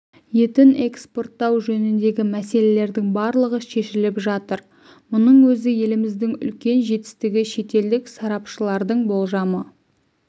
етін экспорттау жөніндегі мәселелердің барлығы шешіліп жатыр мұның өзі еліміздің үлкен жетістігі шетелдік сарапшылардың болжамы